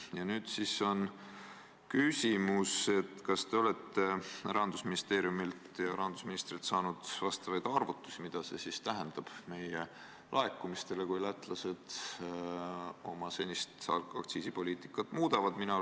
Ja nüüd siis on küsimus: kas te olete Rahandusministeeriumilt või rahandusministrilt saanud arvutusi, mida see tähendab meie laekumistele, kui lätlased oma alkoholiaktsiisipoliitikat muudavad?